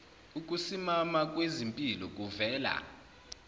ukusimama kwezimpilo kuvela